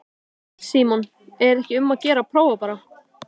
Símon: Er ekki um að gera að prófa bara?